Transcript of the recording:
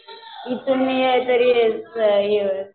मी तरी